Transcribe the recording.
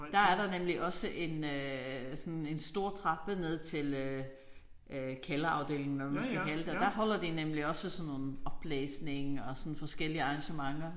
Der er der nemlig også en øh sådan en stor trappe ned til øh øh kælderafdelingen hvad man nu skal kalde det og der holder de også sådan nogen oplæsning og sådan forskellige arrangementer